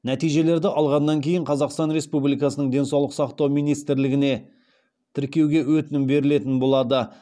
нәтижелерді алғаннан кейін қазақстан республикасының денсаулық сақтау министрлігіне тіркеуге өтінім берілетін болады